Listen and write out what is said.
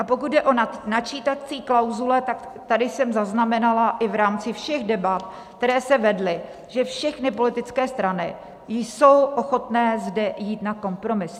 A pokud jde o načítací klauzule, tak tady jsem zaznamenala i v rámci všech debat, které se vedly, že všechny politické strany jsou ochotné zde jít na kompromis.